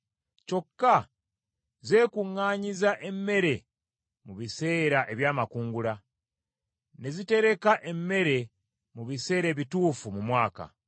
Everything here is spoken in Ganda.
kyokka byekuŋŋaanyiza emmere mu biseera eby’amakungula, ne bitereka emmere mu biseera ebituufu mu mwaka.